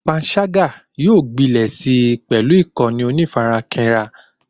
Pańṣágà yóò gbilẹ̀ sí pẹlú ìkànnì onífarakínra